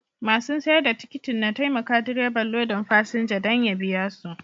Masun sayar da tikitin na taimaka direban lodin fasinja danya biya su.